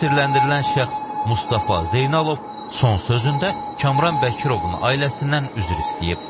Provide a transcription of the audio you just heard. Təqsirləndirilən şəxs Mustafa Zeynalov son sözündə Kamran Bəkirovun ailəsindən üzr istəyib.